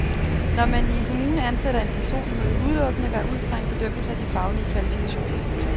Når man i en kommune ansætter en person, må det udelukkende være ud fra en bedømmelse af de faglige kvalifikationer.